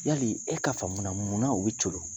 Yali e ka faamu na munna mun bɛ coolo